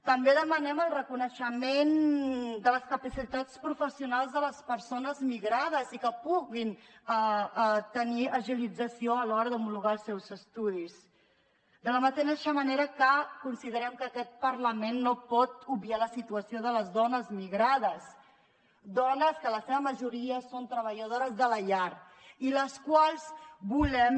també demanem el reconeixement de les capacitats professionals de les persones migrades i que puguin tenir agilització a l’hora d’homologar els seus estudis de la mateixa manera que considerem que aquest parlament no pot obviar la situació de les dones migrades dones que en la seva majoria són treballadores de la llar i les quals volem